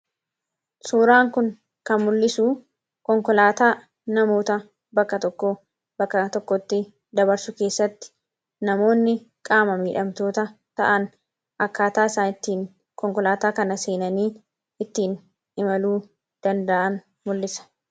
Suuraan kun kan mul'isuu konkolaataa nama bakka tokkoo gara bakka biraatti geejjibsiisuuf kan tajaajiluu dha. Innis akkaataa namoonni qaama miidhamtoota ta'an ittiin konkolaataa yaabaa jiran kan agarsiisuu dha.